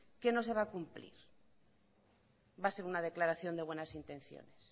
que no se va a cumplir va a ser una declaración de buenas intenciones